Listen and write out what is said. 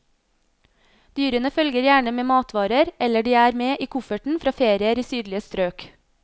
Dyrene følger gjerne med matvarer, eller de er med i kofferten fra ferier i sydlige strøk.